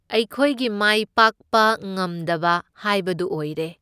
ꯑꯩꯈꯣꯏꯒꯤ ꯃꯥꯏ ꯄꯥꯛꯄ ꯉꯝꯗꯕ ꯍꯥꯏꯕꯗꯨ ꯑꯣꯏꯔꯦ꯫